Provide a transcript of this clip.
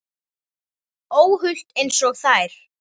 Óhult einsog þær.